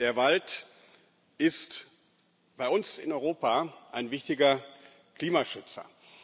Der Wald ist bei uns in Europa ein wichtiger Klimaschützer